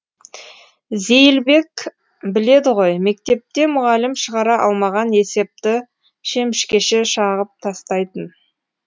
зейілбек біледі ғой мектепте мұғалім шығара алмаған есепті шемішкеше шағып тастайтын